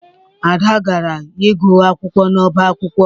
Ada gara ịgụ akwụkwọ n'ọbá akwụkwọ